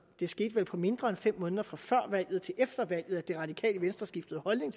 det skete vel på mindre end fem måneder fra før valget og til efter valget at det radikale venstre skiftede holdning